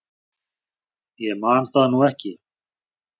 Ég man það nú ekki.